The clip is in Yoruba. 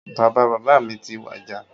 Bàbá bàbá mi ti wàjà